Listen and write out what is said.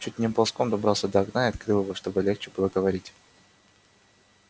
чуть не ползком добрался до окна и открыл его чтобы легче было говорить